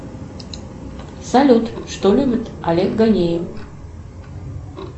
салют что любит олег ганеев